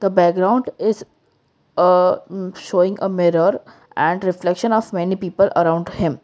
the background is aa um showing a mirror and reflection of many people around him.